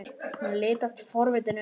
Hún litast forviða um.